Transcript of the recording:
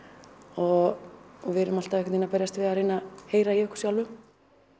og við erum alltaf einhvern veginn að berjast við að reyna að heyra í okkur sjálfum